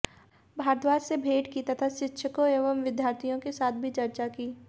भारद्धाज से भेंट की तथा शिक्षकों एवं विद्यार्थियों के साथ भी चर्चा की